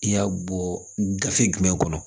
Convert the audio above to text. I y'a bɔ gafe jumɛn kɔnɔ